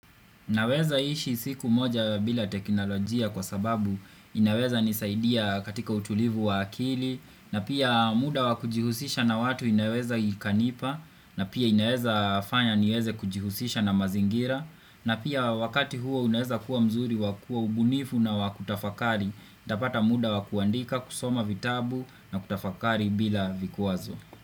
Naweza ishi siku moja bila teknolojia kwa sababu inaweza nisaidia katika utulivu wa akili na pia muda wa kujihusisha na watu inaweza ikanipa na pia inaweza fanya niweze kujihusisha na mazingira na pia wakati huo unaweza kuwa mzuri wakua ubunifu na wakutafakari itapata muda wa kuandika kusoma vitabu na kutafakari bila vikwazo.